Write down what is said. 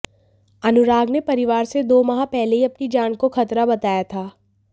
अनुराग ने परिवार से दो माह पहले ही अपनी जान को खतरा बताया था